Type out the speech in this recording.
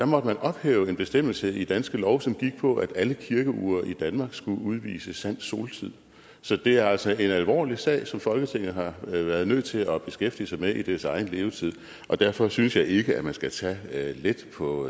måtte man ophæve en bestemmelse i danske lov som gik på at alle kirkeure i danmark skulle udvise sand soltid så det er altså en alvorlig sag som folketinget har været nødt til at beskæftige sig med i dets egen levetid og derfor synes jeg ikke at man skal tage let på